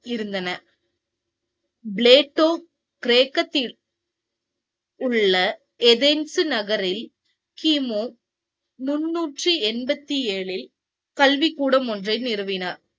இருந்தன. பிளேட்டோ கிரேக்க உள்ள எபென்சு நகரில் கிமு முந்நூற்றி எண்பத்தி ஏழில்இல் கல்வி கூடம் ஒன்றை நிறுவினார்